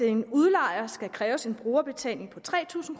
en udlejer skal opkræves en brugerbetaling på tre tusind